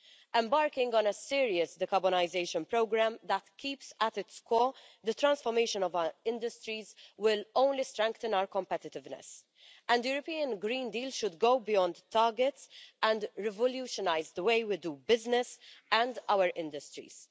Embarking on a serious decarbonisation programme that keeps at its core the transformation of our industries will only strengthen our competitiveness, and the European Green Deal should go beyond targets and revolutionise the way we do business and our industries.